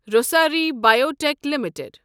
Rossari biotech limited